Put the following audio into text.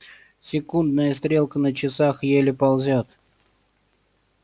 секундная стрелка на часах еле ползёт